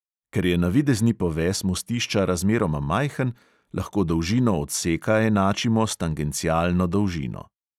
Ker je navidezni poves mostišča razmeroma majhen, lahko dolžino odseka enačimo s tangencialno dolžino.